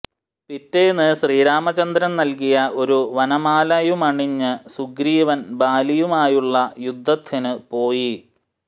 പിറ്റേന്ന് ശ്രീരാമചന്ദ്രൻ നൽകിയ ഒരു വനമാലയുമണിഞ്ഞ് സുഗ്രീവൻ ബാലിയുമായുള്ള യുദ്ധത്തിന് പോയി